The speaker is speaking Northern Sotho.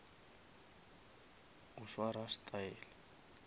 o swara style